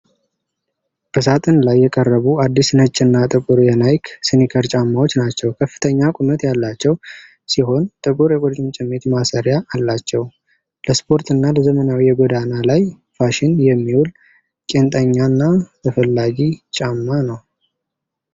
በሳጥን ላይ የቀረቡ፣ አዲስ ነጭና ጥቁር የናይክ ስኒከር ጫማዎች ናቸው። ከፍተኛ ቁመት ያላቸው ሲሆን፣ ጥቁር የቁርጭምጭሚት ማሰሪያ አላቸው። ለስፖርትና ለዘመናዊ የጎዳና ላይ ፋሽን የሚውል፣ ቄንጠኛና ተፈላጊ ጫማ ነው።